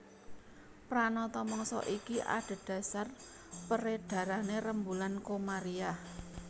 Pranata mangsa iki adhedhasar perédharané rembulan Komariah